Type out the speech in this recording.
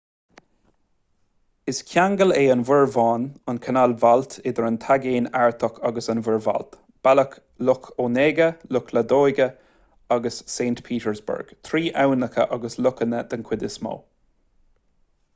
is ceangail é an mhuir bhán-an chanáil bhailt idir an taigéan artach agus an mhuir bhailt bealach loch onega loch ladoga agus saint petersburg trí aibhneacha agus lochanna den chuid is mó